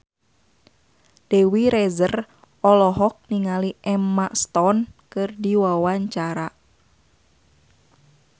Dewi Rezer olohok ningali Emma Stone keur diwawancara